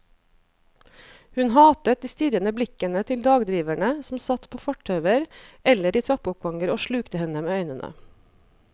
Hun hatet de strirrende blikkende til dagdriverne som satt på fortauer eller i trappeoppganger og slukte henne med øynene.